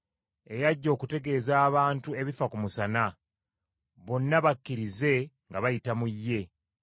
eyajja okutegeeza abantu ebifa ku musana, bonna bakkirize nga bayita mu ye.